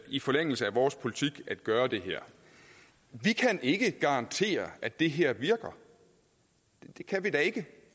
i forlængelse af vores politik at gøre det her vi kan ikke garantere at det her virker det kan vi da ikke